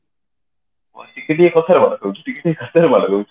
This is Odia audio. ଟିକେ ଟିକେ କଥାରେ ମାଡ ଖାଉଛି ଟିକେ ଟିକେ କଥାରେ ମାଡ ଖାଉଛି